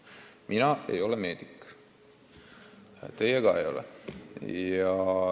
Mina ei ole meedik, teie ka ei ole.